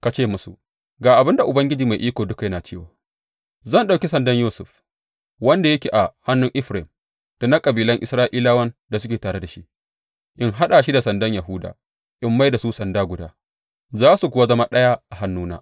Ka ce musu, Ga abin da Ubangiji Mai Iko Duka yana cewa, Zan ɗauki sandan Yusuf, wanda yake a hannun Efraim, da na kabilan Isra’ilawan da suke tare da shi, in haɗa shi da sandan Yahuda, in mai da su sanda guda, za su kuwa zama ɗaya a hannuna.’